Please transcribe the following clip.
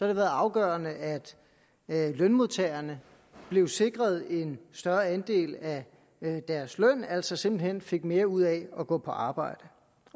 det været afgørende at lønmodtagerne bliver sikret en større andel af deres løn altså simpelt hen får mere ud af at gå på arbejde